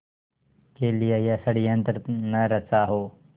के लिए यह षड़यंत्र न रचा हो